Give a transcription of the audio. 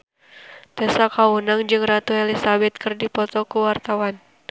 Tessa Kaunang jeung Ratu Elizabeth keur dipoto ku wartawan